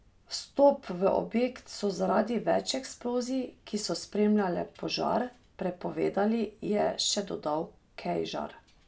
Vstop v objekt so zaradi več eksplozij, ki so spremljale požar, prepovedali, je še dodal Kejžar.